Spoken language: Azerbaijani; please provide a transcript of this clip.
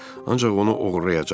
Ancaq onu oğurlayacağam.